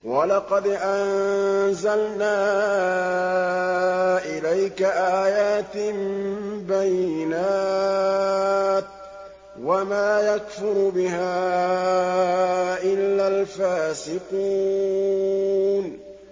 وَلَقَدْ أَنزَلْنَا إِلَيْكَ آيَاتٍ بَيِّنَاتٍ ۖ وَمَا يَكْفُرُ بِهَا إِلَّا الْفَاسِقُونَ